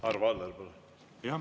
Arvo Aller, palun!